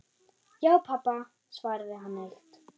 Já, pabba, svaraði hann hægt.